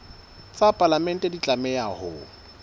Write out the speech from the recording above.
tsa palamente di tlameha ho